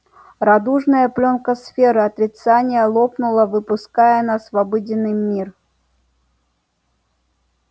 радужная плёнка сферы отрицания лопнула выпуская нас в обыденный мир